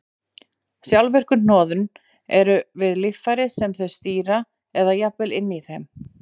Sjálfvirku hnoðun eru við líffærin sem þau stýra eða jafnvel inni í þeim.